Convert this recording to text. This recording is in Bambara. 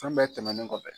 Fɛn bɛɛ tɛmɛnen kɔfɛ